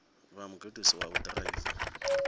vha mugudisi wa u ḓiraiva